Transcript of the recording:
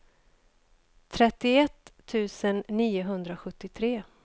trettioett tusen niohundrasjuttiotre